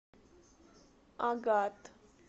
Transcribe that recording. агат